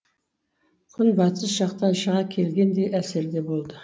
күн батыс жақтан шыға келгендей әсерде болды